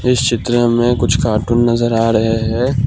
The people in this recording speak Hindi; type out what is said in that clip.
इस चित्र में कुछ कार्टून नजर आ रहे हैं।